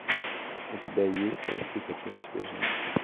у тебя есть прости хочу на тебе жениться